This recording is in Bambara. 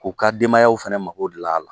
K'u ka denbayaw fana mako dilan a la!